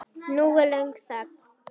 Nú er löng þögn.